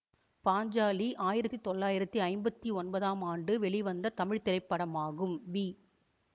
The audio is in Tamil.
பாஞ்சாலி ஆயிரத்தி தொள்ளாயிரத்தி ஐம்பத்தி ஒன்பதாம் ஆண்டு வெளிவந்த தமிழ் திரைப்படமாகும் வி